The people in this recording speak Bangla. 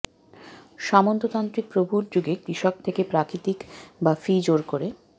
সামন্ততান্ত্রিক প্রভুর যুগে কৃষক থেকে প্রাকৃতিক বা ফি জোর করে